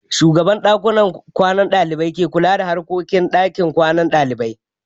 Shugaban ɗakunan kwanan ɗalibai ke kula da harkokin ɗakin kwanan ɗalibai.